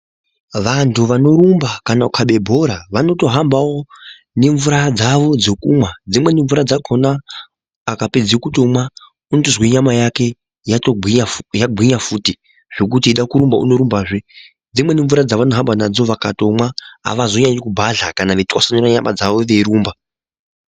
Vantu vanorumba, kana kukave bhora vanotohambawo ngemvura dzavo dzokunwa, dzimweni mvura dzakona akapedze kutonwa unotozwe nyama yake yagwinya futi zvekuti echida kurumba, unorumba zve .Dzimweni mvura dzavanohamba nadzo vakatonwa havazonyanyi kubhadla kana veyitwasanura nyama dzavo beyirumba.